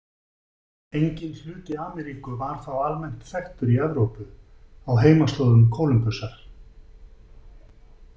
Enginn hluti Ameríku var þá almennt þekktur í Evrópu á heimaslóðum Kólumbusar.